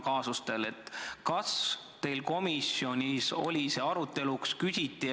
Kas teil komisjonis oli see arutelu all?